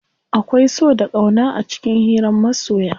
Akwai so da ƙauna a cikin hiran masoya.